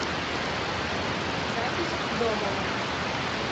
запись домово